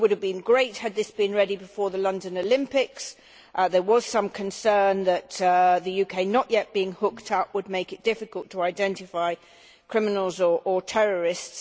It would have been great had this measure been ready before the London Olympics as there was some concern that the fact of the UK not yet being hooked up would make it difficult to identify criminals or terrorists.